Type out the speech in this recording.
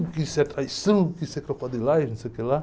O que isso é traição, o que isso é crocodilagem, não sei o que lá.